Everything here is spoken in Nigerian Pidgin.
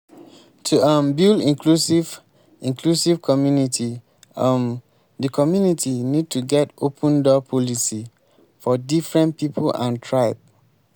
to um build inclusive inclusive community um di community need to get open door policy for different pipo and tribe